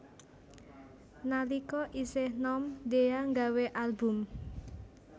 Nalika isih nom Dhea nggawé album